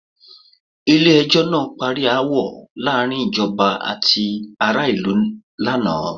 Ilé ẹjọ́ ná parí aáwọ̀ láàárín ìjọba àti ará ìlú laana.